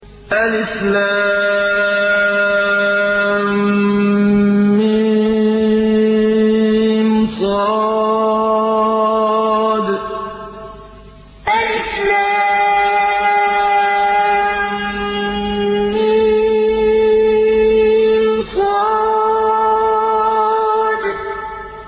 المص المص